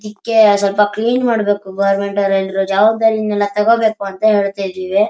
ಅದಿಕ್ಕೆ ಸ್ವಲ್ಪ ಕ್ಲೀನ್ ಮಾಡಬೇಕು ಗವರ್ನಮೆಂಟ್ ಅವ್ರು ಎಲ್ಲರೂ ಜವಾಬ್ದಾರಿ ನೆಲ್ಲ ತಕೊ ಬೇಕು ಅಂತ ಹೇಳ್ತಾ ಇದ್ದಿವಿ.